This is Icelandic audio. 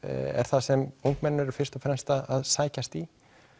er það sem ungmenni eru fyrst og fremst að sækjast í